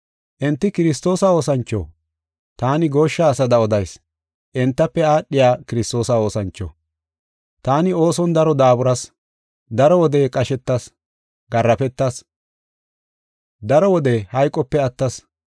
Enti Kiristoosa oosancho? Taani gooshsha asada odayis, entafe aadhiya Kiristoosa oosancho. Taani ooson daro daaburas; daro wode qashetas; garaafetas; daro wode hayqope attas.